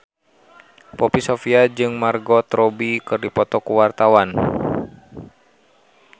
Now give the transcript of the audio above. Poppy Sovia jeung Margot Robbie keur dipoto ku wartawan